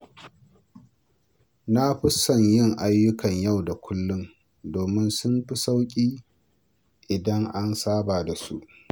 Na fi son yin ayyukan yau da kullum domin sun fi sauƙi idan an saba da su.